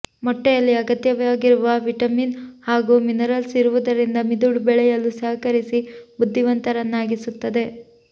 ಮೊಟ್ಟೆಯಲ್ಲಿ ಅಗತ್ಯವಾಗಿರುವ ವಿಟಮಿನ್ ಹಾಗೂ ಮಿನರಲ್ಸ್ ಇರುವುದರಿಂದ ಮಿದುಳು ಬೆಳೆಯಲು ಸಹಕರಿಸಿ ಬುದ್ದಿವಂತರನ್ನಾಗಿಸುತ್ತದೆ